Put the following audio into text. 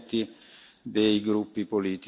Vielen Dank Herr Präsident!